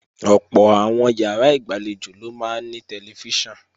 Ọ̀pọ̀ àwọn ìyàrá ìgbàlejò ló máa ní tẹlifíṣàn